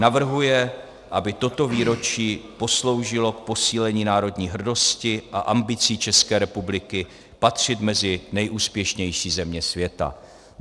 Navrhuje, aby toto výročí posloužilo k posílení národní hrdosti a ambicí České republiky patřit mezi nejúspěšnější země světa."